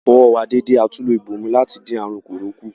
A fọ ọwọ́ wa dédé atún lo ìbòmú láti dín àrùn kòró kù.